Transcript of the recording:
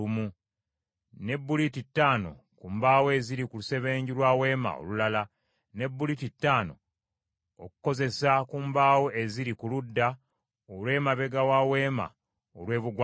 ne buliti ttaano ku mbaawo eziri ku lusebenju lwa Weema olulala, ne buliti ttaano okukozesa ku mbaawo eziri ku ludda olw’emabega wa Weema olw’ebugwanjuba.